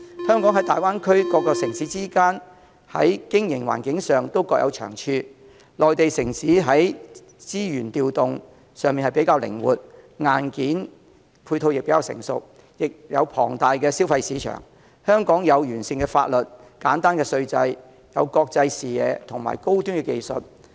香港和大灣區各城市之間在經營環境上各有長處，內地城市在資源調動上較靈活，硬件配套亦較成熟，也有龐大的消費市場；香港則有完善的法律、簡單稅制、具國際視野和高端技術。